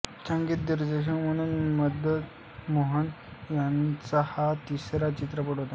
संगीत दिग्दर्शक म्हणून मदन मोहन यांचा हा तिसरा चित्रपट होता